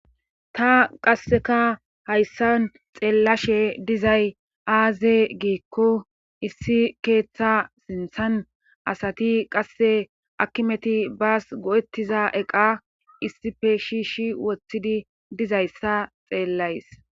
ta qasseka hayssan xeellashe dizay aaze giikko issi keeththa sinthan asati qasse akkimeti baas go7ettiza eqa issife shiishi wothidi dizayssa xeellays